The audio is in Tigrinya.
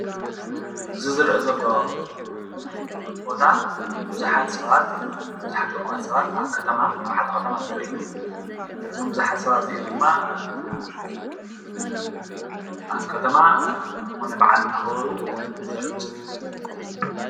እዚ ዝርአ ዘሎ ቦታ ቡዙሓት ሰባት ቡዙሓት እኩባት ሰባት ኣብ ከተማ ኣብ ሓደ ኸተማ ዘርኢ እዩ። እዞም ብዙሓት ሰባት እዚኦም ድማ ኣብ ከተማ ዝኮነ በዓል እንዳክበሩ ዘርኢ ምስሊ እዩ